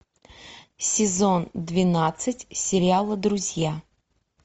сезон двенадцать сериала друзья